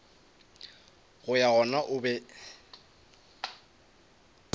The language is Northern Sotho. go ya gona o be